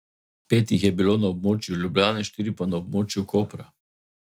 Pet jih je bilo na območju Ljubljane, štiri pa na območju Kopra.